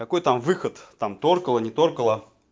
какой там выход там зацепило не зацепило